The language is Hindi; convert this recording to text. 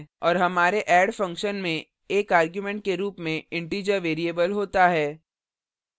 और हमारे add function में एक argument के रूप में integer variable variable होता है